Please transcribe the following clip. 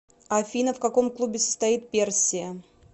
афина в каком клубе состоит персия